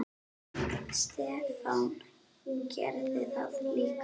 Stefán gerði það líka.